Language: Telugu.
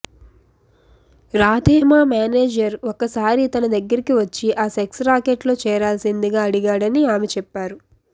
రాధేమా మేనేజర్ ఒకసారి తన దగ్గరకి వచ్చి ఆ సెక్స్ రాకెట్లో చేరాల్సిందిగా అడిగాడని ఆమె చెప్పారు